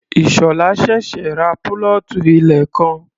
Ìṣọ̀lá ṣẹ̀ṣẹ̀ ra púlọ̀tù ilẹ̀ kan.